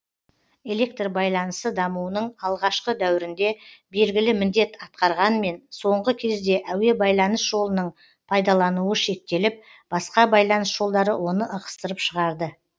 электр байланысы дамуының алғашқы дәуірінде белгілі міндет атқарғанмен соңғы кезде әуе байланыс жолының пайдалануы шектеліп басқа байланыс жолдары оны ығыстырып шығарды